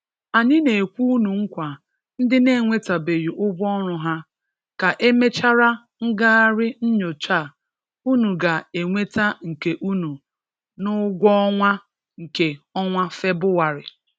Anyị na-ekwe ụnụ nkwa ndị na-enwetabeghị ụgwọ ọrụ ha, ka e mechara ngagharị nyocha a ụnụ ga-enweta nke ụnụ n'ụgwọ ọnwa nke ọnwa Febụwarị